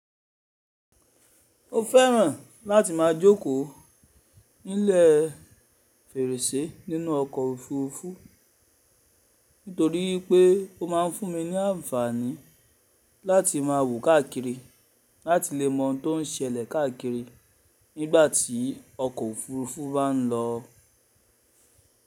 Mo fẹ́ràn láti máa jókòó nílẹ̀ fèrèsé nínú ọkọ̀ òfurufú, nítorí pé ó máa ń fún mi ní àǹfààní láti má wo káàkiri, láti lè mọ ohun tó ń ṣẹlẹ̀ káàkiri nígbàtí ọkọ̀ òfurufú bá n lọ.